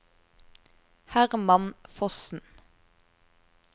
Herman Fossen